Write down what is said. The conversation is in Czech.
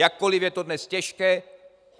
Jakkoli je to dnes těžké.